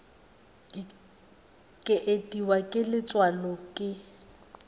ke itiwa ke letswalo ke